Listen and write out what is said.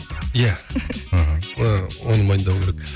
иә ыыы оны мойындау керек